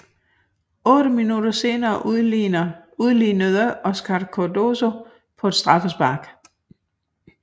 Otte minutter senere udlignede Óscar Cardozo på et straffespark